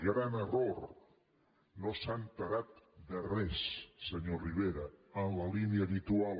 gran error no s’ha assabentat de res senyor rivera en la línia habitual